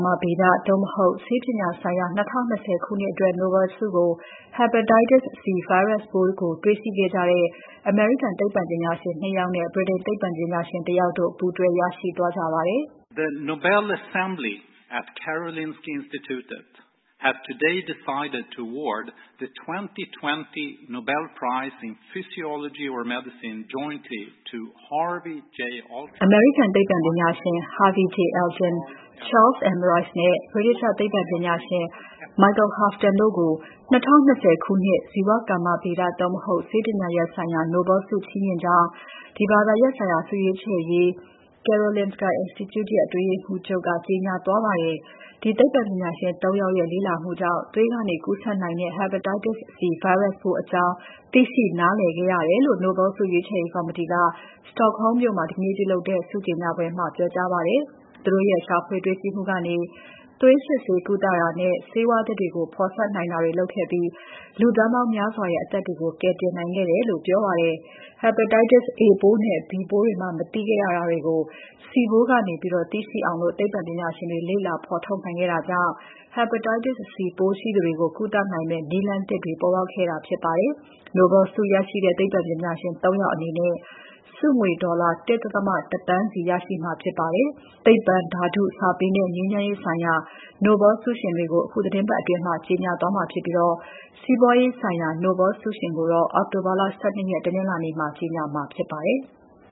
မဗေဒ သို့မဟုတ် ဆေးပညာဆိုင်ရာ ၂၀၂၀ ခုနှစ်အတွက် Nobel ဆုကို Hepatitis C ဗိုင်းရပ်စ်ပိုးကို တေ့ွရှိခဲ့ကြတဲ့ အမေရိကန်သိပ္ပံပညာရှင် ၂ ယောက်နဲ့ ဗြိတိန်သိပ္ပံပညာရှင်တယောက်တို့ ပူးတွဲ ရရှိသွားကြပါတယ်။ အမေရိကန်သိပ္ပံပညာရှင် Harvey J. Alter၊ Charles M. Rice နဲ့ ဗြိတိသ ျှသိပ္ပံပညာရှင် Michael Houghton တို့ကို ၂၀၂၀ ခုနှစ် ဇီဝကမ္မဗေဒ သို့မဟုတ် ဆေးပညာဆိုင်ရာ Nobel ဆုချီးမြှင့်ကြောင်း ဒီဘာသာရပ်ဆိုင်ရာ ဆုရွေးချယ်ရေး Karolinska Institute ရဲ့ အတွင်းရေးမှူးချုပ် Thomas Perlmann ကကြေညာသွားပါတယ်။ ဒီသိပ္ပံပညာရှင် ၃ ယောက်ရဲ့ လေ့လာမှုကြောင့် သွေးကနေ ကူးစက်နိုင်တဲ့ Hepatitis C ဗိုင်းရပ်စ်ပိုးအကြောင်း သိရှိ နားလည်ခဲ့ရတယ်လို့ Nobel ဆုရွေးချယ်ရေး ကော်မတီက Stockholm မြို့မှာ ဒီနေ့လုပ်တဲ့ ဆုကြေညာပွဲမှာ ပြောကြားပါတယ်။ သူတို့ရဲ့ ရှာဖွေတေ့ွရှိမှုကနေ သွေးစစ်ဆေးကုသတာနဲ့ ဆေးဝါးသစ်တွေကို ဖော်စပ်တာတွေ လုပ်နိုင်ခဲ့ပြီး လူသန်းပေါင်းများရဲ့ အသက်တွေကို ကယ်တင်နိုင်ခဲ့တယ်လို့ ပြောပါတယ်။ Hepatitis A ပိုးနဲ့ B ပိုးတွေမှာ မသိနိုင်ခဲ့တာတွေကို C ပိုးကနေ သိရှိအောင် သိပ္ပံပညာရှင်တွေ လေ့လာဖော်ထုတ်နိုင်ခဲ့တာကြောင့် Hepatitis C ပိုးရှိသူတွေကို ကုသနိုင်မယ့် နည်းလမ်းသစ်တွေ ပေါ်လာခဲ့တာဖြစ်ပါတယ်။ Nobel ဆုရတဲ့ သိပ္ပံပညာရှင် ၃ ယောက်အနေနဲ့ ဆုငွေ ဒေါ်လာ ၁.၁ သန်းကို အညီအမ ျှ ခွဲဝေ ရကြမှာဖြစ်ပါတယ်။ သိပ္ပံ၊ ဓါတု၊ စာပေနဲ့ ငြိမ်းချမ်းရေးဆိုင်ရာ Nobel ဆုရှင်တွေကို အခုသီတင်းပတ်အတွင်း ကြေညာသွားမှာဖြစ်ပြီး စီးပွားရေးဆိုင်ရာ Nobel ဆုရှင်ကိုတော့ အောက်တိုဘာ ၁၂ ရက် တနင်္လာနေ့မှာ ကြေညာမှာဖြစ်ပါတယ်။